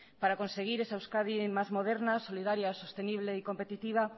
para conseguir esa euskadi más moderna solidaria sostenible y competitiva